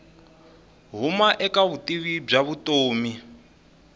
huma eka vutivi bya vutomi